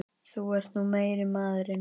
Þú ert nú meiri maðurinn!